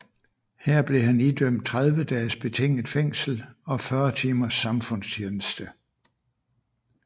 Her blev han idømt 30 dages betinget fængsel og 40 timers samfundstjeneste